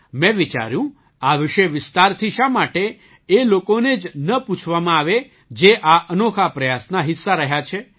મેં વિચાર્યું આ વિશે વિસ્તારથી શા માટે એ લોકોને જ ન પૂછવામાં આવે જે આ અનોખા પ્રયાસના હિસ્સા રહ્યા છે